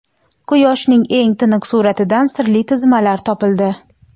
Quyoshning eng tiniq suratidan sirli tizmalar topildi.